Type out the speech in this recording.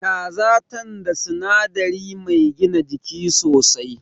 Kaza tan da sinadari mai gina jiki sosai.